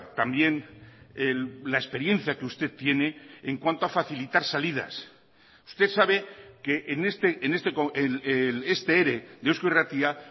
también la experiencia que usted tiene en cuanto a facilitar salidas usted sabe que este ere de eusko irratia